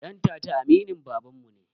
Ɗantata aminin babanmu ne